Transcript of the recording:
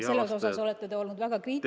Selle kohta olete te olnud väga kriitiline.